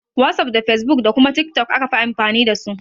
Wasuf da fesbuk da kuma tiktok aka fi amfani dasu.